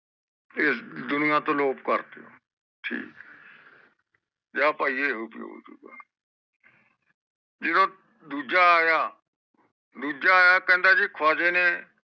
ਫੇਰ ਦੁਨੀਆ ਤੋਂ ਲੋਪ ਕਰਦਿਆ ਠੀਕ ਏ ਜਾ ਪਾਈ ਇਹ ਹੋ ਹੋਜੂਗਾ ਜਿਦੋ ਦੂਜਾ ਆਇਆ ਦੂਜਾ ਆਇਆ ਕਹਿੰਦਾ ਜੀ ਖਵਾਜੇ ਨੇ